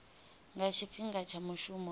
nga tshifhinga tsha mushumo na